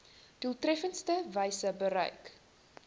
doeltreffendste wyse bereik